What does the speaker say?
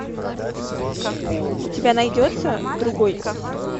у тебя найдется другой